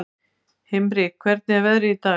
Himri, hvernig er veðrið í dag?